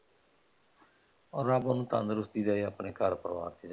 ਓਹ ਰੱਬ ਓਹਨੂੰ ਤੰਦਰੁਸਤੀ ਦੇਵੇ ਆਪਣੇ ਘਰ ਪਰਿਵਾਰ ਚ।